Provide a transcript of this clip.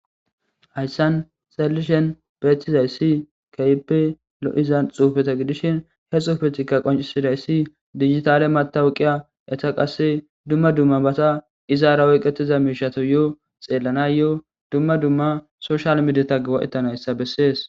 Hayssan xallishen beettizay ssi kayipe lo'izan xufeta gidishin he xuufetika qoncisiday ssi digitale matawuqiya eta qasse dumma dumma bata izaara woyqetiza miishato yoo xeellana yoo dumma dumma soshal mideta gawa'etanayssa bessees.